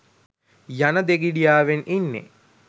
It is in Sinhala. යන දෙගිඩියාවෙන් ඉන්නෙ.